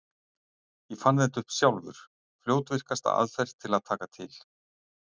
Ég fann þetta upp sjálfur: fljótvirkasta aðferð til að taka til.